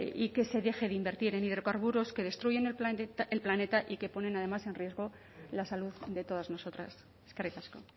y que se deje de invertir en hidrocarburos que destruyen el planeta y que ponen además en riesgo la salud de todas nosotras eskerrik asko